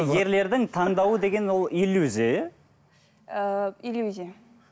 ерлердің таңдауы деген ол иллюзия иә ыыы иллюзия